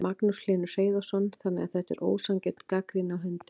Magnús Hlynur Hreiðarsson: Þannig að þetta er ósanngjörn gagnrýni á hundinn?